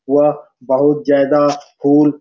वह बहुत ज्यादा फूल --